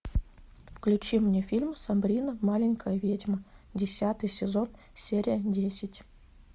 включи мне фильм сабрина маленькая ведьма десятый сезон серия десять